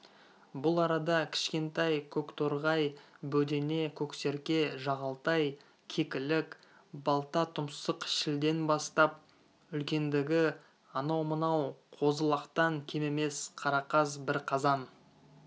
бұл арада кішкентай көкторғай бөдене көксерке жағалтай кекілік балтатұмсық шілден бастап үлкендігі анау-мынау қозы-лақтан кем емес қарақаз бірқазан